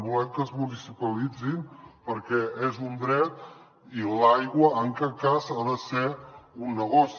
volem que es municipalitzin perquè és un dret i l’aigua en cap cas ha de ser un negoci